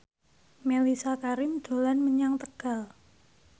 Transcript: Mellisa Karim dolan menyang Tegal